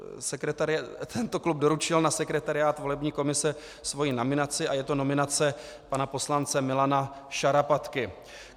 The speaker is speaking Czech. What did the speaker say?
Tento klub doručil na sekretariát volební komise svoji nominaci a je to nominace pana poslance Milana Šarapatky.